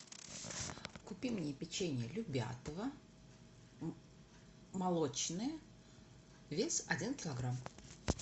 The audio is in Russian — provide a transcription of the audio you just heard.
купи мне печенье любятово молочное вес один килограмм